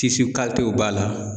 kalitew b'a la.